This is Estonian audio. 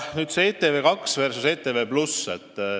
Nüüd sellest ETV2 versus ETV+.